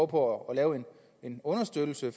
på at lave en understøttelse